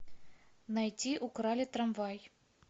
найти украли трамвай